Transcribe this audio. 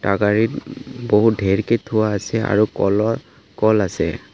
টাগাৰিত উম বহুত ঢেৰকে থোৱা আছে আৰু কলহ কল আছে।